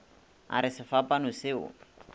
a re sefapano se o